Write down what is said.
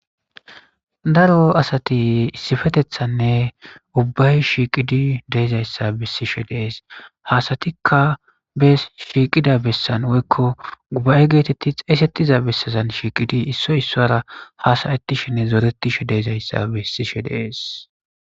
Darro asati issifetethanne ubbay shiiqidi de7izayssa bessishe dees. Hasatikka bes shiiqida bessan woykko gubaye geetetti xeesettiza bessazan shiiqidi issoy issuwara haasayettishenne zooretishe de7izayssa bessishe dees.